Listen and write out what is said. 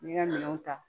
N'i ka minɛnw ta